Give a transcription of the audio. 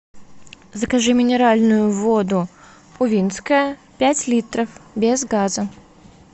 закажи минеральную воду увинская пять литров без газа